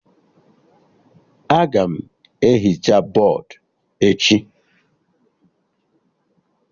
Aga m ehicha bọdụ echi